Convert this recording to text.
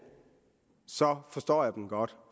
forstår jeg dem godt